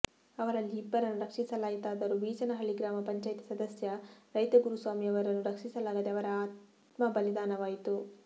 ಅವರಲ್ಲಿ ಇಬ್ಬರನ್ನು ರಕ್ಷಿಸಲಾಯಿತಾದರೂ ಬೀಚನಹಳ್ಳಿ ಗ್ರಾಮ ಪಂಚಾಯಿತಿ ಸದಸ್ಯ ರೈತ ಗುರುಸ್ವಾಮಿಯವರನ್ನು ರಕ್ಷಿಸಲಾಗದೆ ಅವರ ಆತ್ಮಬಲಿದಾನವಾಯಿತು